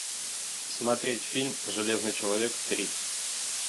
смотреть фильм железный человек три